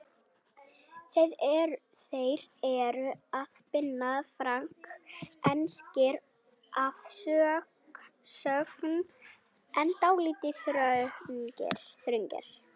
Þeir eru af Binna Frank, enskir að sögn en dálítið þröngir.